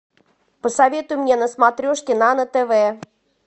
посоветуй мне на смотрешке нано тв